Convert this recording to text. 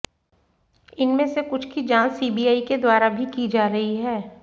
इनमें से कुछ की जांच सी बी आई के द्वारा भी की जा रही है